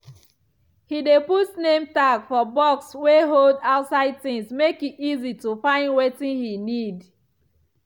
he dey put name tag for box wey hold outside things make e easy to find wetin he need.